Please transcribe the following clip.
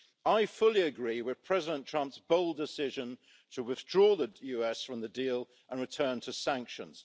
I fully agree with President Trump's bold decision to withdraw the US from the deal and return to sanctions.